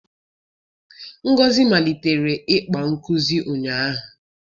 Ngozi malitere ịkpa nkuzi ụnyahụ